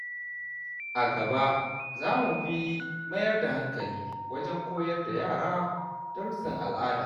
A gaba, zamu fi mayar da hankali wajen koyar da yara darussan al’ada.